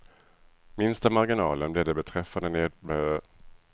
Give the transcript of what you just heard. Minsta marginalen blev det beträffande nedskärningarna och taxehöjningarna på fritidshemmen.